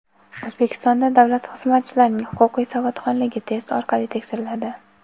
O‘zbekistonda davlat xizmatchilarining huquqiy savodxonligi test orqali tekshiriladi.